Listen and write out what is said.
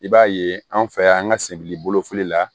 I b'a ye anw fɛ yan an ka sebili bolofili la